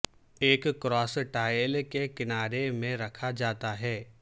ایک cross tile کے کنارے میں رکھا جاتا ہے